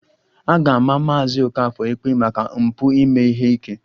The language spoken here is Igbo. A ga-ama Maazị Okafor ikpe maka mpụ ime ihe ike